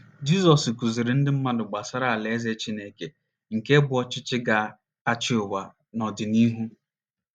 nt Jizọs kụziiri ndị mmadụ gbasara Alaeze Chineke nke bụ́ ọchịchị ga - achị ụwa n’ọdịnihu